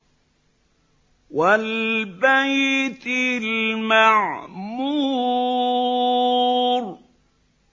وَالْبَيْتِ الْمَعْمُورِ